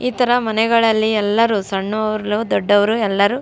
ಇತರ ಮನೆಗಳಲ್ಲಿ ಎಲ್ಲರು ಸಣ್ಣವರು ದೊಡ್ಡವರು ಎಲ್ಲರು --